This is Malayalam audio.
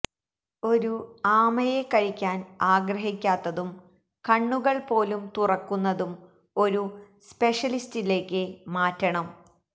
ഒരു ആമയെ കഴിക്കാൻ ആഗ്രഹിക്കാത്തതും കണ്ണുകൾ പോലും തുറക്കുന്നതും ഒരു സ്പെഷ്യലിസ്റ്റിലേക്ക് മാറ്റണം